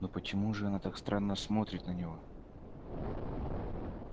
но почему же она так странно смотрит на него